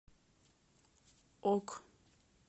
ок